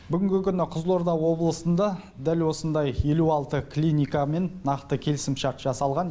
бүгінгі күні қызылорда облысында дәл осындай елу алты клиникамен нақты келісімшарт жасалған